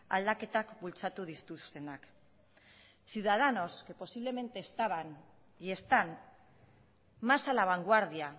aldaketak bultzatu dituztenak ciudadanos que posiblemente estaban y están más a la vanguardia